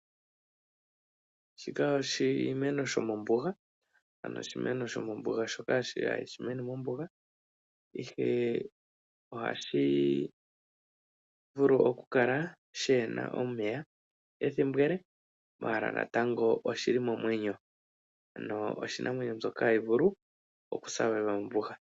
Shika oshimeno shomombuga ano oshimeno shomombuga shoka hashi mene mombuga ihe ohashi vulu okukala shaana omeya ethimbo ele maala natango oshili momwenyo ano oshinamwenyo mbyoka hayi vulu okuhupa mombuga.